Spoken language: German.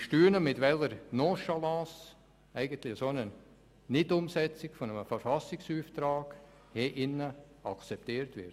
Ich staune, mit welcher Nonchalance eine solche Nichtumsetzung eines Verfassungsauftrags hier akzeptiert wird.